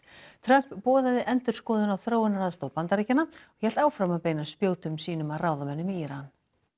Trump boðaði endurskoðun á þróunaraðstoð Bandaríkjanna og hélt áfram að beina spjótum sínum að ráðamönnum í Íran